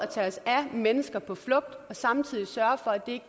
tage os af mennesker på flugt og samtidig sørge for at det